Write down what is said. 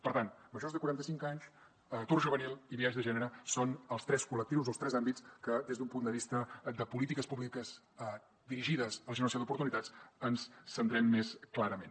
per tant majors de quaranta cinc anys atur juvenil i biaix de gènere són els tres col·lectius o els tres àmbits en què des d’un punt de vista de polítiques públiques dirigides a la generació d’oportunitats ens centrem més clarament